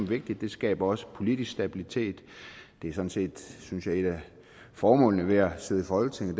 vigtig det skaber også politisk stabilitet det er sådan set synes jeg et af formålene med at sidde i folketinget